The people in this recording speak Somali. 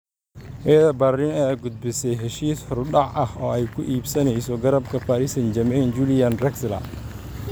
Hertha Berlin ayaa gudbisay heshiis horudhac ah oo ay ku iibsanayso garabka Paris St-Germain Julian Draxler.